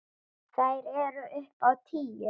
Þær eru upp á tíu.